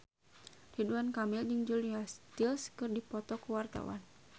Ridwan Kamil jeung Julia Stiles keur dipoto ku wartawan